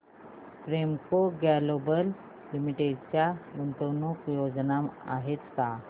Premco global limited च्या गुंतवणूक योजना आहेत का